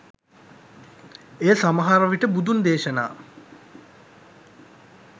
එය සමහරවිට බුදුන් දේශනා